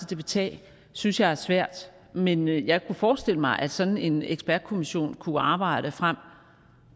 det vil tage synes jeg er svært men jeg kunne forestille mig at sådan en ekspertkommission kunne arbejde frem